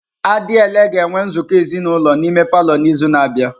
Adiele ga-enwe nzukọ ezinulo n'ime palọ n'izu na-abịa.